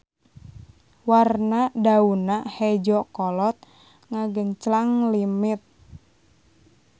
Warna daunna hejo kolot ngagenclang limit.